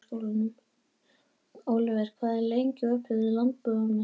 Oliver, hvað er lengi opið í Landbúnaðarháskólanum?